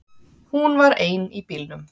Hún var ein í bílnum.